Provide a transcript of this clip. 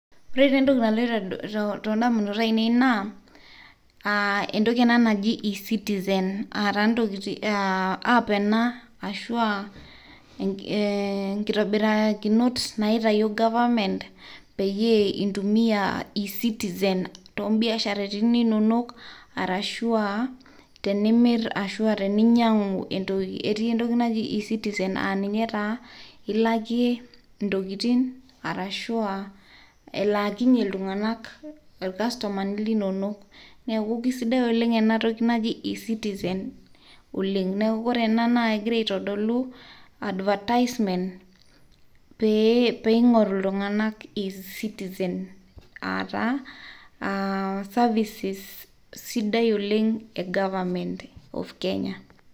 Entoki ena naji e-Citizen, aa taa app ashu ashu inkitobirakinot naaitayio government peyie intumia e-Citizen toombiasharani inono, arashu aa tenimir ashu teninyiang'u, nilakie e-citizen intokitin arashu elaakinyie iltung'anak irkastomani. Neeku ore ena kegira aitodolu advertisement pee eing'oru iltung'anak e-citizen, aa taa services sidai oleng' e government of Kenya